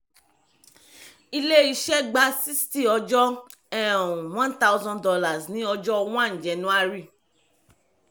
ilé-iṣẹ́ gba sixty ọjọ́ um one thousand dollars ní ọjọ́ one january.